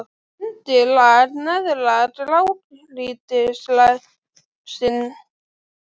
Undirlag neðra grágrýtislagsins er þarna undir sjávarmáli.